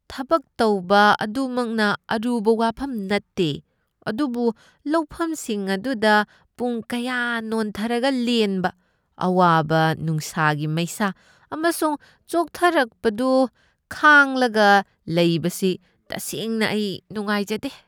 ꯊꯕꯛ ꯇꯧꯕ ꯑꯗꯨꯃꯛꯅ ꯑꯔꯨꯕ ꯋꯥꯐꯝ ꯅꯠꯇꯦ, ꯑꯗꯨꯕꯨ ꯂꯧꯐꯝꯁꯤꯡ ꯑꯗꯨꯗ ꯄꯨꯡ ꯀꯌꯥ ꯅꯣꯟꯊꯔꯒ ꯂꯦꯟꯕ, ꯑꯋꯥꯕ ꯅꯨꯡꯁꯥꯒꯤ ꯃꯩꯁꯥ ꯑꯃꯁꯨꯡ ꯆꯣꯛꯊꯔꯛꯄꯗꯨ ꯈꯥꯡꯂꯒ ꯂꯩꯕꯁꯤ, ꯇꯁꯦꯡꯅ ꯑꯩ ꯅꯨꯡꯉꯥꯏꯖꯗꯦ ꯫